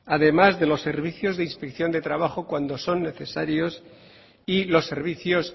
además de los servicios de inspección de trabajo cuando son necesarios y los servicios